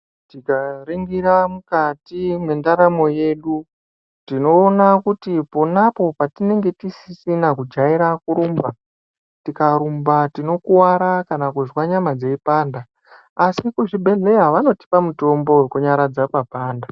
Tikaringira mukati mwendaramo yedu tinoona kuti ponapo petinenge tisisina kujaira kurumba ,tikarumba tinokuwara kana kunzwa nyama dzeipanda , asi kuzvibhedhlera vanotipa mutombo wekunyaradza papanda.